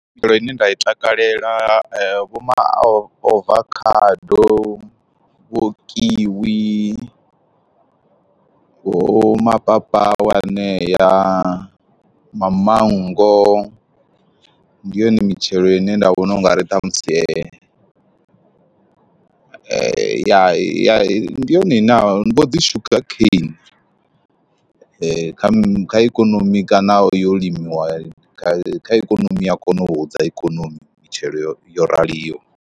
Mitshelo ine nda i takalela vho ma ovakhado, vho kiwi, vho mapapawe anea, mamango ndi yone mitshelo ine nda vhona ungari ṱhamusi vha ya ye ndi yone ine ya vho dzi sugar kane, kha ikonomi kana yo limiwa kha ikonomi ya kona u hudza ikonomi mitshelo yo raliho.